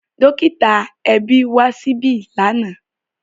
Dọ́kítà ẹbí wá síbí lánàá.